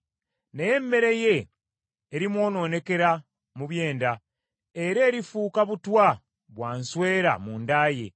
Naye emmere ye erimwonoonekera mu byenda, era erifuuka butwa bwa nsweera munda ye.